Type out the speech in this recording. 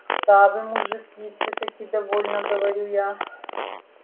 да вы мужики всё-таки довольно говорю я